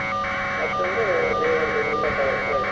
ಮತ್ತೊಂದು ದೇವರದೊಂದು photo ಕೊಟ್ರೆ ಆಯ್ತು.